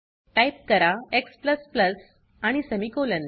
type करा x आणि semicolon